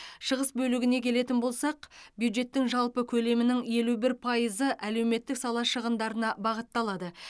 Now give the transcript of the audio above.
шығыс бөлігіне келетін болсақ бюджеттің жалпы көлемінің елу бір пайызы әлеуметтік сала шығындарына бағытталады